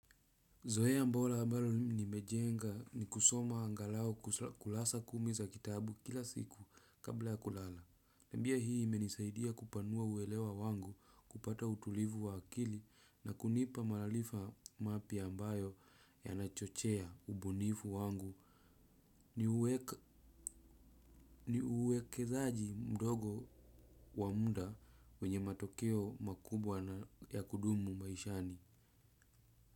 Zoea bora ambalo nimejenga ni kusoma angalau kurasa kumi za kitabu kila siku kabla ya kulala. Tabia hii imenisaidia kupanua uelewa wangu kupata utulivu wa akili na kunipa maarifa mapya ambayo yanachochea ubunifu wangu ni uwekezaji mdogo wa muda wenye matokeo makubwa na ya kudumu maishani.